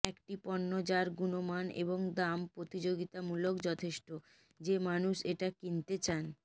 একটি পণ্য যার গুণমান এবং দাম প্রতিযোগিতামূলক যথেষ্ট যে মানুষ এটা কিনতে চান